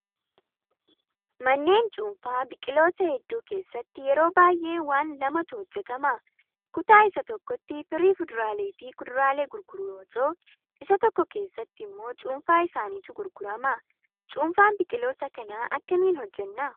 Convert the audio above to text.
Manneen cuunfaa biqilootaa hedduu keessatti yeroo baay'ee waan lamatu hojjatama. Kutaa isa tokkotti firii fuduraalee fi kuduraalee gurguruu yoo ta'u, isa tokko keessatti immoo cuunfaa isaaniitu gurgurama. Cuunfaa biqiloota kanaa akkamiin hojjannaa?